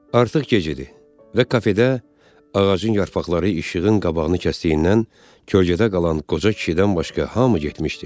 Artıq gecədir və kafedə ağacın yarpaqları işığın qabağını kəsdiyindən kölgədə qalan qoca kişidən başqa hamı getmişdi.